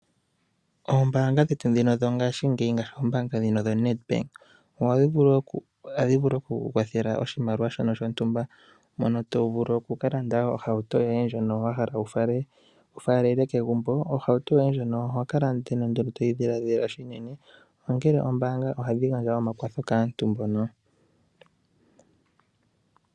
Oombaanga dhetu ndhino dhongashingeyi ngaashi oombaanga dhoNedbank ohadhi vulu oku ku kwathela oshimaliwa shono shontumba mono to vulu oku ka landa ohauto yoye ndjono wa hala wu faalele kegumbo. Ohauto yoye ndjono oho kala nduno to yi dhiladhila unene ongele ombaanga ohadhi gandja omakwatho kaantu mbono.